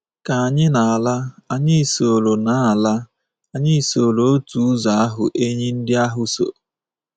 Ka anyị na-ala, anyị soro na-ala, anyị soro otu ụzọ ahụ enyí ndị ahụ so.